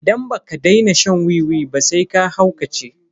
Idan baka daina shan wiwi ba sai ka haukace.